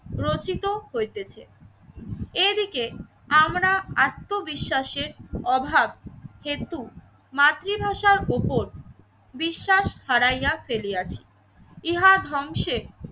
রচিত হইতেছে। এদিকে আমরা আত্মবিশ্বাসের অভাব হেতু মাতৃভাষার ওপর বিশ্বাস হারাইয়া ফেলিয়াছি। ইহা ধ্বংসের